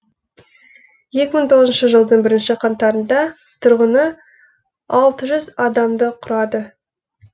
екі мың тоғызыншы жылдың бірінші қаңтарында тұрғыны алты жүз адамды құрады